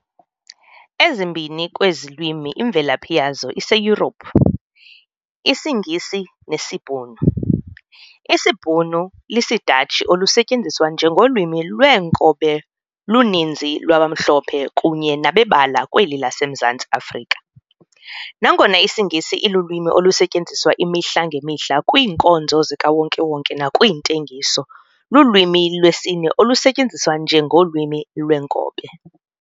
Ezimbini kwezi lwimi imvelaphi yazo iseYurophu- isiNgisi nesiBhunu, isiBhunu lisiDatshi olusetyenziswa njengolwimi lweenkobe luninzi lwabamhlophe kunye nabebala kweli laseMzantsi Afrika. Nangona isiNgesi ilulwimi olusetyenziswa imihla-ngemihla kwiinkonzo zikawonke-wonke nakwiintengiso, lulwimi lwesine olusetyenziswa njengolwimi lweenkobe.